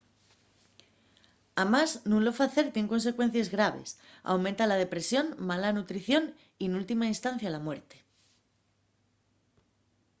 amás nun lo facer tien consecuencies graves: aumenta la depresión mala nutrición y n’última instancia la muerte